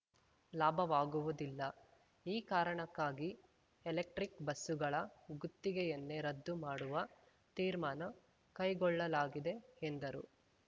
ಲಾಭವಾಗುವುದಿಲ್ಲ ಈ ಕಾರಣಕ್ಕಾಗಿ ಎಲೆಕ್ಟ್ರಿಕ್ ಬಸ್ಸುಗಳ ಗುತ್ತಿಗೆಯನ್ನೆ ರದ್ದು ಮಾಡುವ ತೀರ್ಮಾನ ಕೈಗೊಳ್ಳಲಾಗಿದೆ ಎಂದರು